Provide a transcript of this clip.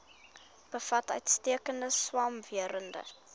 bevat uitstekende swamwerende